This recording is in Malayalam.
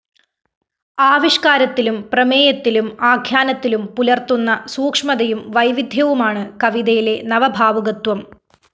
ആവിഷ്‌കാരത്തിലും പ്രമേയത്തിലും ആഖ്യാനത്തിലും പുലര്‍ത്തുന്ന സൂക്ഷ്മതയും വൈവിധ്യവുമാണ് കവിതയിലെ നവഭാവുകത്വം